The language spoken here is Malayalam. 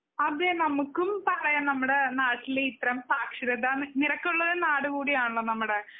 അതെ നമ്മുക്കും പറയാം നമ്മുടെ നാട്ടില് ഇത്രേം സാക്ഷരതാ നിരക്ക് കൂടുതലുള്ള നാട് കുടി ആണല്ലോ നമ്മുടെ.